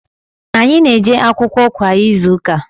anyị na-eje akwụkwọ kwa izuụka.